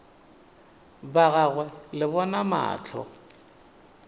ba gagwe le bona mahlo